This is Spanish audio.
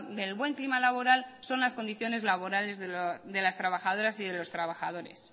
del buen clima laboral son las condiciones laborales de las trabajadoras y de los trabadores